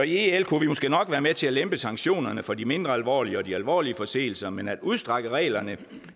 i el kunne vi måske nok være med til at lempe sanktionerne for de mindre alvorlige og de alvorlige forseelser men at udstrække reglerne